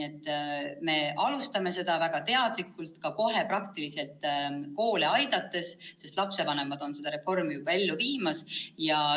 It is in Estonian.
Me alustame seda väga teadlikult, ka kohe praktiliselt koole aidates, sest lapsevanemad on juba seda reformi ellu viimas.